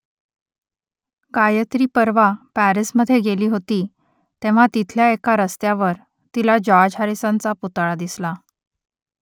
गायत्री परवा पॅरिसमधे गेली होती तेव्हा तिथल्या एका रस्त्यावर तिला जॉर्ज हॅरिसनचा पुतळा दिसला